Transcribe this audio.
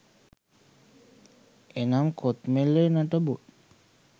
එනම් කොත්මලේ නටබුන්